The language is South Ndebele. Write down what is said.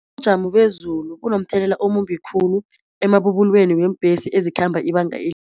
Bezulu bunomthelela omumbi khulu emabubulweni weembhesi ezikhamba ibanga